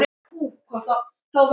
Allir aðrir eru farnir.